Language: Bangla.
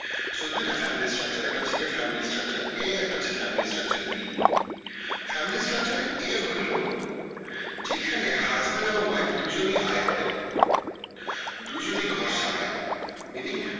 so দুইটা family structure একটা হচ্ছে গিয়ে family structure a আরেকটা হচ্ছে গিয়ে family structure Bfamily structure A হইলো যেখানে husband এবং wife দুজনেই আয় করে দুজনেই ঘর সামলায় meaning